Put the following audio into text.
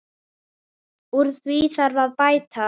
Úr því þarf að bæta.